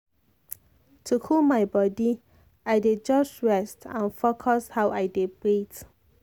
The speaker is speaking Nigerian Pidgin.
to cool my body i dey just rest and focus how i dey breathe.